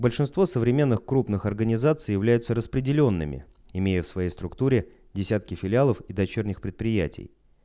большинство современных крупных организаций является распределенными имея в своей структуре десятки филиалов и дочерних предприятий